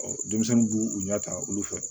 denmisɛnnin b'u u ɲɛ ta olu fɛ